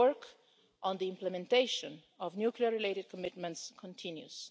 The work on the implementation of nuclear-related commitments continues.